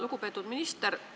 Lugupeetud minister!